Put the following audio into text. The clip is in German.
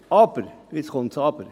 Aber, jetzt kommt das Aber: